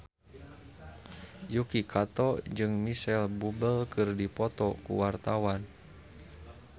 Yuki Kato jeung Micheal Bubble keur dipoto ku wartawan